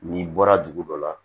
N'i bɔra dugu dɔ la